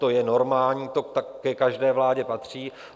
To je normální, to ke každé vládě patří.